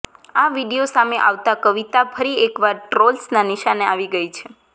આ વિડીયો સામે આવતા કવિતા ફરી એકવાર ટ્રોલ્સના નિશાને આવી ગઈ છે